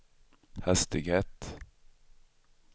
hastighet